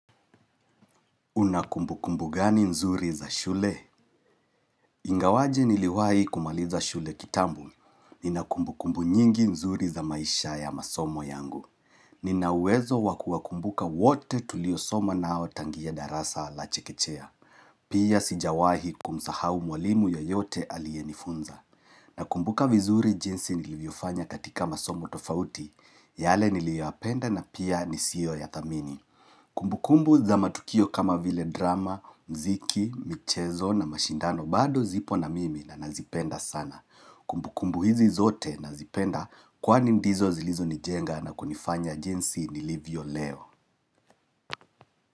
Una kumbukumbu gani nzuri za shule? Ingawaje niliwai kumaliza shule kitambo. Nina kumbu kumbu nyingi nzuri za maisha ya masomo yangu. Nina uwezo wakuwa kumbuka wote tuliosoma nao tangia darasa la chekechea. Pia sijawahi kumsahau mwalimu yoyote alienifunza. Na kumbuka vizuri jinsi nilivyofanya katika masomo tofauti. Yale niliyoyapenda na pia ni siyo yathamini. Kumbu kumbu za matukio kama vile drama, mziki, michezo na mashindano bado zipo na mimi na nazipenda sana. Kumbu kumbu hizi zote nazipenda kwani ndizo zilizo nijenga na kunifanya jinsi nilivyo Leo.